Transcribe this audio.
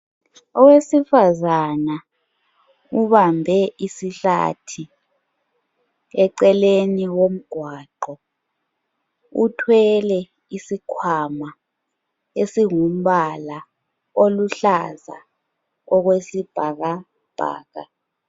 Owesifazana ubambe isihlathi eceleni komgwaqo uthwele isikhwama esingumbala oluhlaza okwesibhakabhaka.